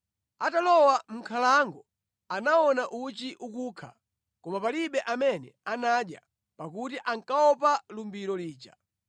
Atalowa mʼnkhalango, anaona uchi ukukha, koma palibe amene anadya, pakuti ankaopa lumbiro lija.